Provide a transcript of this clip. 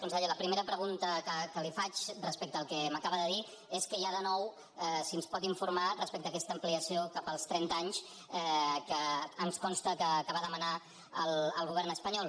conseller la primera pregunta que li faig respecte al que m’acaba de dir és què hi ha de nou si ens pot informar respecte a aquesta ampliació cap als trenta anys que ens consta que va demanar al govern espanyol